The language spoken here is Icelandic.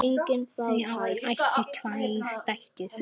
Þau áttu tvær dætur.